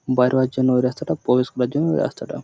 বাহির হওয়ার জন্য এই রাস্তাটা। প্রবেশ করার জর্ন্য এই রাস্তাটা